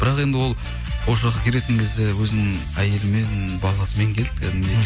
бірақ енді ол осы жаққа келетін кезде өзінің әйелімен баласымен келді кәдімгідей